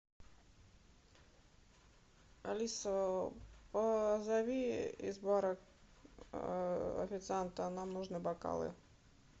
алиса позови из бара официанта нам нужны бокалы